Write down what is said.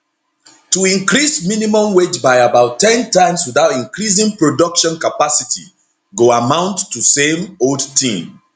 to increase minimum wage by about ten times witout increasing production capacity go amount to same old tin